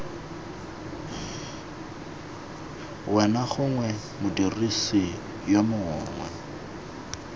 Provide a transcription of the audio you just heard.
wena gongwe modirisi yo mongwe